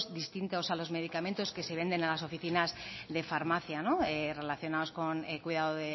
distintos a los medicamente que se venden en las oficinas de farmacia relacionados con el cuidado